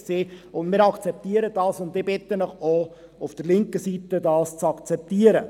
Wir akzeptieren das, und ich bitte Sie, das auch auf der linken Seite zu akzeptieren.